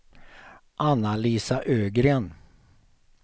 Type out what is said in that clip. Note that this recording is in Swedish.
Anna-Lisa Ögren